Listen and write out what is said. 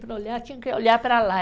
Para olhar, tinham que olhar para lá.